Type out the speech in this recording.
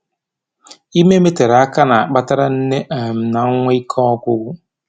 Ime metere aka na-akpatara nne um na nwa ike ọgwụgwụ